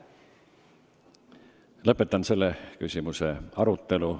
Lõpetan selle küsimuse arutelu.